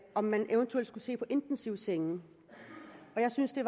om man eventuelt skulle se på intensivsenge jeg synes det